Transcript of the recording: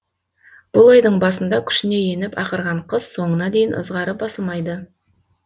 бұл айдың басында күшіне еніп ақырған қыс соңына дейін ызғары басылмайды